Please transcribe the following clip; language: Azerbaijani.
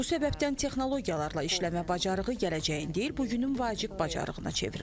Bu səbəbdən texnologiyalarla işləmə bacarığı gələcəyin deyil, bu günün vacib bacarığına çevrilib.